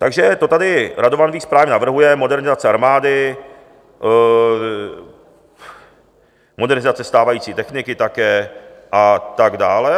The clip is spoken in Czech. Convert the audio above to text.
Takže to tady Radovan Vích právě navrhuje, modernizace armády, modernizace stávající techniky také a tak dále.